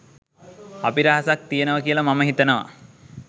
අභිරහසක් තියෙනවා කියලා මම හිතනවා.